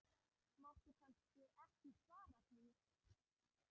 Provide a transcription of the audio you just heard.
Máttu kannski ekki svara því?